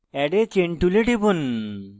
add a chain tool টিপুন